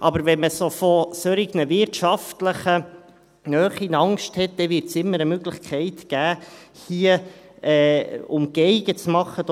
Aber wenn man vor solchen wirtschaftlichen Nähen Angst hat, wird es immer eine Möglichkeit geben, hier Umgehungen zu machen;